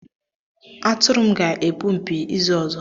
Atụrụ m ga-epu mpi izu ọzọ